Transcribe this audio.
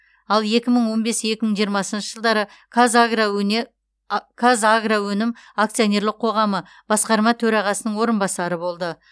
ал екі мың он бес екі мың жиырмасыншы жылдары қазагроөнім акционерлік қоғамы басқарма төрағасының орынбасары болды